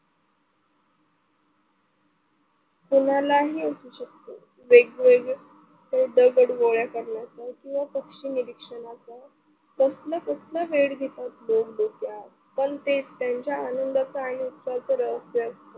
कुणालाही असू शकतो. वेगवेगळे दगड गोळा करण्याचा किंवा पक्षी निरीक्षणाचा कसलं कसलं वेड पितात लोक डोक्यात पण ते त्यांच्या आनंदाचा आणि उत्साहाचं रहस्य असतं.